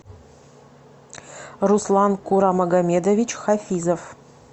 руслан курамагомедович хафизов